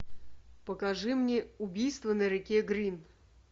покажи мне убийство на реке грин